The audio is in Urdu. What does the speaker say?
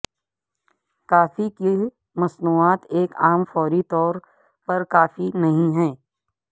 کافی کی مصنوعات ایک عام فوری طور پر کافی نہیں ہے